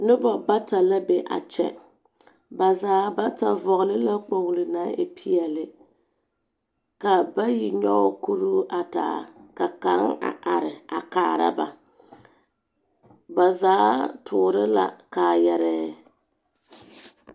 Noba bata la be a kyɛ. Ba zaa bata vɔgele la kpogili naŋ e peɛle. Ka, bayi nyɔge kuruu a taa, ka kaŋ a are a kaara ba. Ba taa toore la kaayarɛɛ.